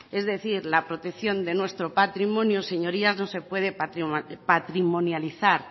es decir la protección de nuestro patrimonio señorías no se puede patrimonializar